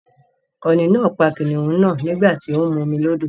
Ọ̀ni náà pa kìnìún náà nígbà tí ó ń mu omi lódò.